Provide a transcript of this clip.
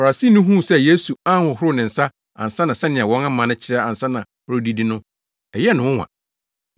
Farisini no huu sɛ Yesu anhohoro ne nsa ansa sɛnea wɔn amanne kyerɛ ansa na ɔredidi no, ɛyɛɛ no nwonwa.